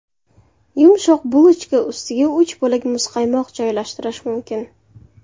Yumshoq bulochka ustiga uch bo‘lak muzqaymoq joylashtirish mumkin.